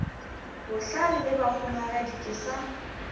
bohlale le bahumagadi ke sa